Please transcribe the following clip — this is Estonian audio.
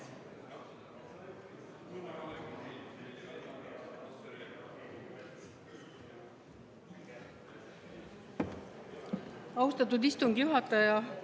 Austatud istungi juhataja!